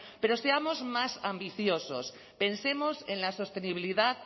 pero seamos más ambiciosos pensemos en la sostenibilidad